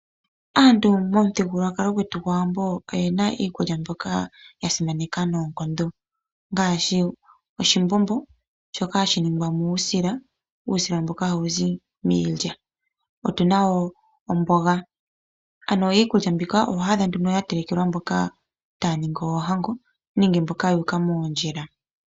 Aantu momuthigululwakalo gwetu gwaawambo oyena iikulya mbyoka ya simaneka noonkondo ngaashi oshimbombo shoka hashi ningwa muusila ,muusila mboka hawuzi miilya. Otuna woo omboga . Ano iikulya mbika oho adha ya telekelwa mboka taya ningi oohango nenge mboka yu uka moondjila.